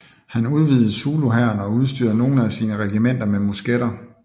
Han udvidede zuluhæren og udstyrede nogle af sine regimenter med musketter